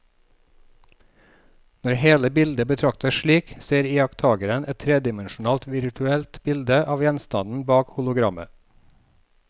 Når hele bildet betraktes slik, ser iakttakeren et tredimensjonalt virtuelt bilde av gjenstanden bak hologrammet.